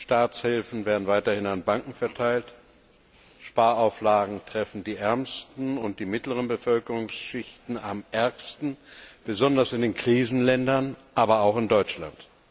Staatshilfen werden weiterhin an Banken verteilt, Sparauflagen treffen die ärmsten und die mittleren Bevölkerungsschichten am ärgsten besonders in den Krisenländern, aber auch in Deutschland.